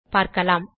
பார்க்கலாம்